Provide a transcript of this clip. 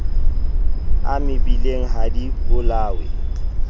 a mebileng ha di bolawe